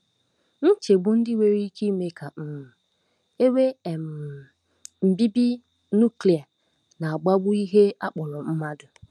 Nchegbu ndị nwere ike ime ka um e nwee um mbibi nuklia na-akpagbu ihe a kpọrọ mmadụ.